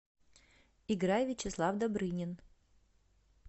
играй вячеслав добрынин